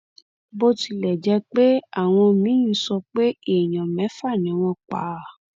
bó tilẹ jẹ pé àwọn míín sọ pé èèyàn mẹfà ni wọn pa